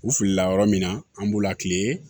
U filila yɔrɔ min na an b'u lati